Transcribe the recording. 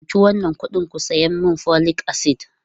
Dauki wannan kuɗin ku saya min folic acid!